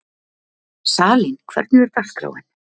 Salín, hvernig er dagskráin?